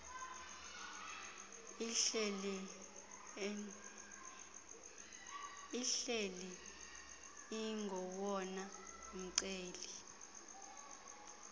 ihleli ingowona mceli